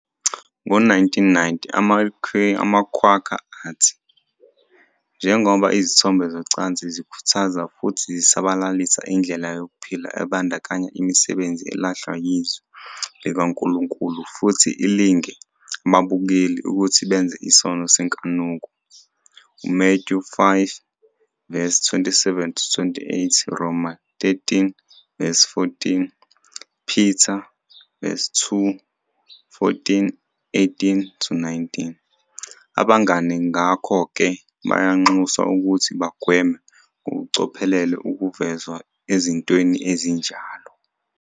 Ngo-1990, amaQuaker athi, "Njengoba izithombe zocansi zikhuthaza futhi zisabalalisa indlela yokuphila ebandakanya imisebenzi elahlwa yiZwi likaNkulunkulu futhi ilinge ababukeli ukuthi benze isono senkanuko, Mathewu 5- 27-28- Roma 13-14, II Peter 2- 14, 18-19, Abangane ngakho-ke bayanxuswa ukuthi bagweme ngokucophelela ukuvezwa ezintweni ezinjalo.